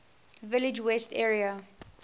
village west area